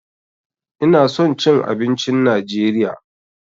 Ina son cin abincin najeriya.